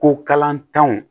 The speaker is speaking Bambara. Ko kalantanw